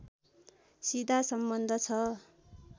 सिधा सम्बन्ध छ